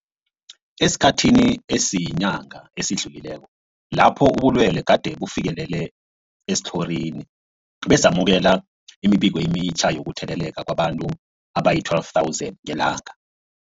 Esikhathini esiyinyanga esidlulileko lapho ubulwele gade bufikelele esitlhorini, besamukela imibiko emitjha yokutheleleka kwabantu abazii-12 000 ngelanga.